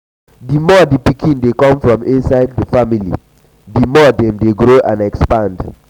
um the um more the pikin um de de come for inside the family the more dem de grow and expand